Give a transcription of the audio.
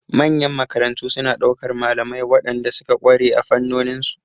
Manyan makarantu suna ɗaukar malamai waɗanda suka ƙware a fannonin su.